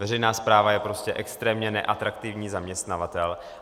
Veřejná správa je prostě extrémně neatraktivní zaměstnavatel.